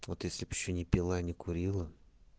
вот если б ещё не пила и не курила